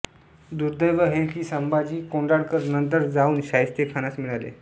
दुर्दैव हे कि संभाजी कोंढाळकर नंतर जाऊन शाईस्तेखानास मिळाले